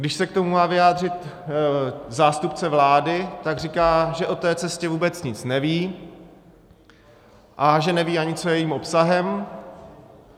Když se k tomu má vyjádřit zástupce vlády, tak říká, že o té cestě vůbec nic neví a že neví ani, co je jejím obsahem.